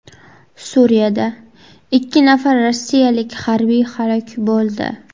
Suriyada ikki nafar rossiyalik harbiy halok bo‘ldi.